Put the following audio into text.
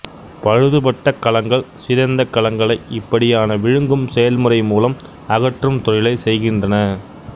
பழுதுபட்ட கலங்கள் சிதைந்த கலங்களை இப்படியான விழுங்கும் செயல்முறை மூலம் அகற்றும் தொழிலைச் செய்கின்றன